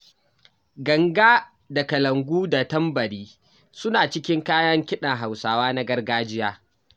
Ganga da kalangu da tambari suna cikin kayan kiɗan Hausawa na gargajiya.